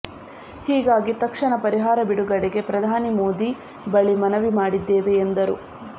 ಹೀಗಾಗಿ ತಕ್ಷಣ ಪರಿಹಾರ ಬಿಡುಗಡೆಗೆ ಪ್ರಧಾನಿ ಮೋದಿ ಬಳಿ ಮನವಿ ಮಾಡಿದ್ದೇವೆ ಎಂದರು